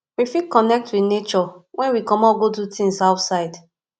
we fit connect with nature when we comot go do things outside